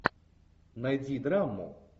найди драму